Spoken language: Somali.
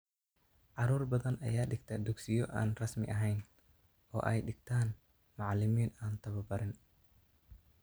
Carruur badan ayaa dhigta dugsiyo aan rasmiahayn oo ay dhigtaan macalimiin aantababarin.